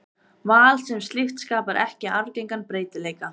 Val sem slíkt skapar ekki arfgengan breytileika.